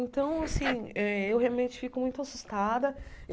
Então, assim, eh eu realmente fico muito assustada.